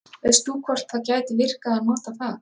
veist þú hvort það gæti virkað að nota það